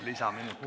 Lisaminut ka.